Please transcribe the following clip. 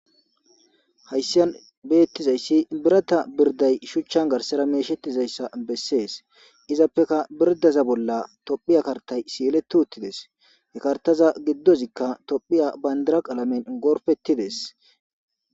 hayssiyan beettizayssi birata birday shuchchan garsara meeshettizayssa bessees izappeka birdaza bolla tophiya kartay siyeletu uttides hekartaza giddozikka tophiya bayndiraq alamen gorfettides